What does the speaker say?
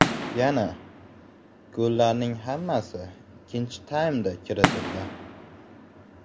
Yana, gollarning hammasi ikkinchi taymda kiritildi.